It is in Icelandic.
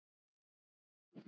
Ég gat alltaf treyst því.